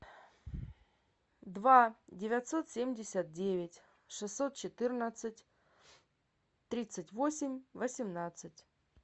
два девятьсот семьдесят девять шестьсот четырнадцать тридцать восемь восемнадцать